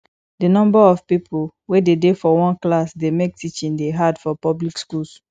di number of pipo wey de dey for one class dey make teaching dey hard for public schools